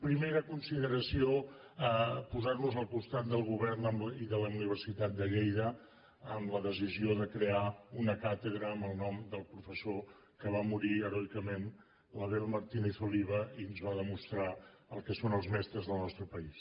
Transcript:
primera consideració posar nos al costat del govern i de la universitat de lleida en la decisió de crear una càtedra amb el nom del professor que va morir heroicament l’abel martínez oliva i ens va demostrar el que són els mestres del nostre país